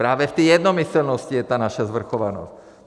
Právě v té jednomyslnosti je ta naše svrchovanost!